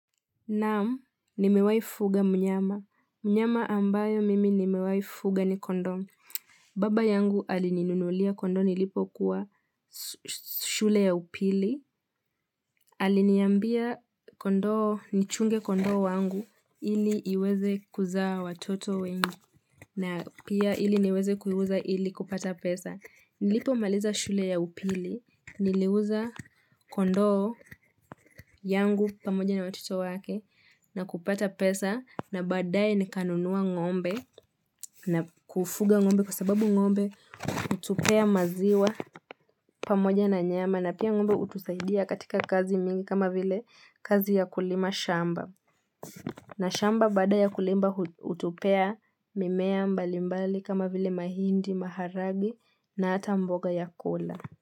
Naam, nimewai fuga mnyama. Mnyama ambayo mimi nimewai fuga ni kondoo. Baba yangu alininunulia kondoo nilipokuwa su shule ya upili. Aliniambia kondoo, nichunge kondoo wangu. Ili iweze kuzaa watoto wengi. Na pia ili niweze kuiuza ili kupata pesa. Nilipomaliza shule ya upili. Niliuza kondoo yangu pamoja na watoto wake. Na kupata pesa na baadaye nikanunua ng'ombe na kufuga ng'ombe kwa sababu ng'ombe hutupea maziwa pamoja na nyama na pia ng'ombe hutusaidia katika kazi mingi kama vile kazi ya kulima shamba. Na shamba baada ya kulimba hu hutupea mimea mbali mbali kama vile mahindi, maharage na hata mboga ya kula.